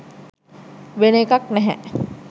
වෙන එකක් නැහැ.